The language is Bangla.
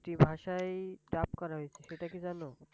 যে ভাষায় Dub করা হইসে সেটা কি জানো?